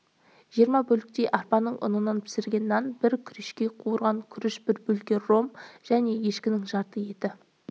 жиырма бөлектей арпаның ұнынан пісірген нан бір күрешке қуырған күріш бір бөтелке ром және ешкінің жарты еті